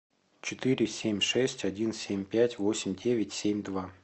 четыре семь шесть один семь пять восемь девять семь два